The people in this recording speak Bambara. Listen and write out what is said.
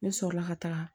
Ne sɔrɔla ka taga